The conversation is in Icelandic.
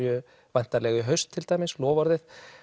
væntanlega í haust til dæmis loforðið